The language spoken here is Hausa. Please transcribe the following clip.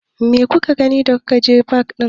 Me kuka gani da kuka je fak ɗin?